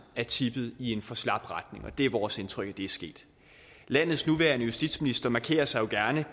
er tippet i en for slap retning og det er vores indtryk at det er sket landets nuværende justitsminister markerer sig jo gerne